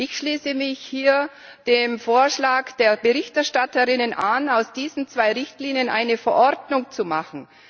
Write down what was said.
Ich schließe mich hier dem Vorschlag der Berichterstatterinnen an, aus diesen zwei Richtlinien eine Verordnung zu machen.